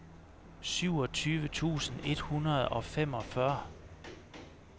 syvogtyve tusind et hundrede og femogfyrre